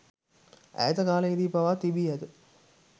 ඈත කාලයේදී පවා තිබී ඇත.